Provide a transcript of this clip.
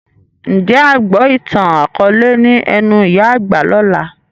Ń jẹ́ a gbọ ìtàn akọ̀ọ̀lẹ ni ẹnu ìyá àgbà lọ́la?